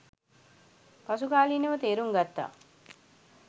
පසුකාලීනව තේරුම් ගත්තා